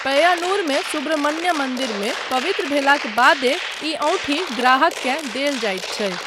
पय्यानूरमे सुब्रह्मण्य मन्दिरमे पवित्र भेलाक बादे ई औँठी ग्राहककेँ देल जाइत छै।